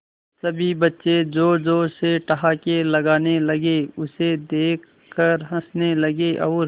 सभी बच्चे जोर जोर से ठहाके लगाने लगे उसे देख कर हंसने लगे और